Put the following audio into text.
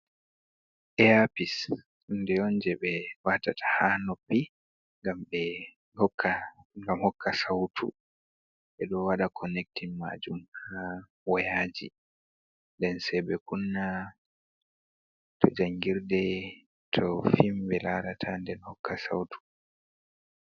Eyaapis huunde on jey ɓe waatata haa noppi ngam hokka sawtu, ɓe ɗo waɗa konektin maajum haa woyaaji nden say ɓe kunna to janngirde to fim ɓe laarata nden hokka sawtu.